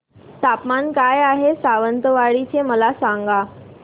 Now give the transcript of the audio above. तापमान काय आहे सावंतवाडी चे मला सांगा